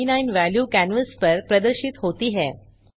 2029 value canvas पर प्रदर्शित होती है